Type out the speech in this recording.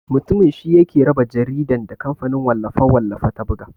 Mutumin shi yake raba jaridan da kamfanin wallafe-wallafe ta buga.